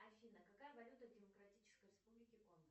афина какая валюта в демократической республике конго